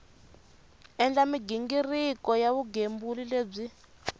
endla mighingiriko ya vugembuli lebyi